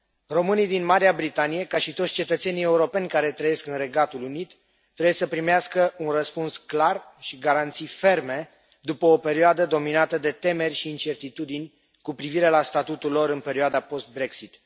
Românii din Marea Britanie, ca și toți cetățenii europeni care trăiesc în Regatul Unit, trebuie să primească un răspuns clar și garanții ferme, după o perioadă dominată de temeri și incertitudini, cu privire la statutul lor în perioada post Brexit.